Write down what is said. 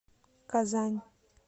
казань